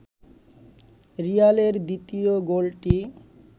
রিয়ালের দ্বিতীয় গোলটি